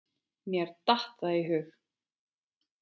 Mér datt það í hug!